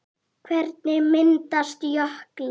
Hvernig myndast jöklar?